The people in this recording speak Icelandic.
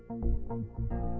og